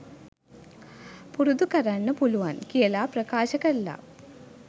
පුරුදු කරන්න පුළුවන් කියලා ප්‍රකාශ කරලා